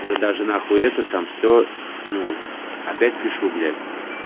уже даже на хуи это там все ну опять пишу блять